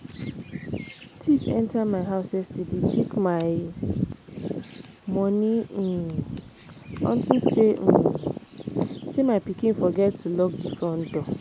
Thief enter my house yesterday take my money um unto um say my pikin forget to lock the front door